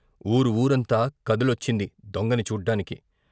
ఊరు ఊరంతా కదిలొచ్చింది దొంగని చూడ్డానికి.